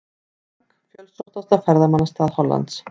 Frank, fjölsóttasta ferðamannastað Hollands.